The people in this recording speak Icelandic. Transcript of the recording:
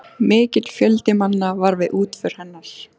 Mikill fjöldi manna var við útför hennar.